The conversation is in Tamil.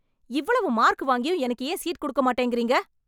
இவ்வளவு மார்க் வாங்கியும் எனக்கு ஏன் சீட் கொடுக்க மாட்டேங்கிறீங்க